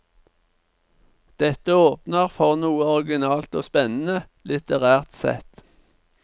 Dette åpner for noe originalt og spennende, litterært sett.